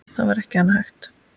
Það er ekki annað hægt.